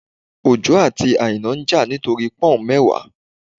Ojo àti Aina ń jà nítorí Pọ́ùn mẹ́wàá